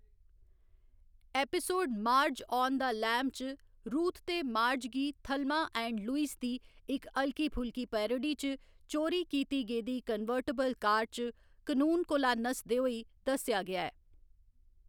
Episode Marge on the Lam च Ruth ते Marge गी थल्मा एंड लुईस दी इक हल्की फुल्की पैरोडी च चोरी कीती गेदी कन्वर्टबल कार च कनून कोला नसदे होई दस्सेआ गेआ ऐ।